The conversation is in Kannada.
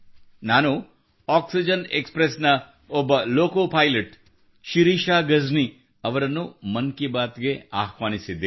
ನಾನು ಆಕ್ಸಿಜನ್ಎಬಕ್ಸ್ ಪ್ರೆಸ್ ನ ಓರ್ವ ಲೋಕೋ ಪೈಲಟ್ ಶಿರೀಷಾ ಗಜನಿ ಅವರನ್ನು ಮನ್ ಕಿ ಬಾತ್ ಗೆ ಆಹ್ವಾನಿಸಿದ್ದೇನೆ